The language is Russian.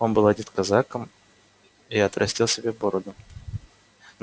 он был одет казаком и отрастил себе бороду м